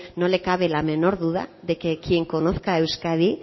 no le cabe la menor duda de que quien conozca euskadi